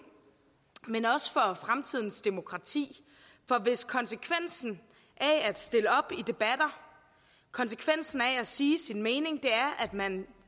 men også for fremtidens demokrati for hvis konsekvensen af at stille op i debatter konsekvensen af at sige sin mening er at man